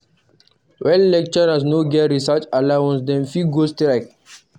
When lecturers no get research allowance, dem fit go strike.